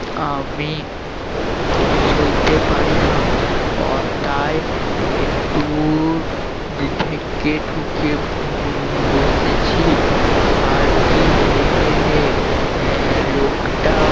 আমি সইতে পারি না তাই একটু ঢেকে ঢুকে বসেছি আর কি হে হে হে আহ লোকটা